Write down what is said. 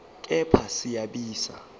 kepha siya siba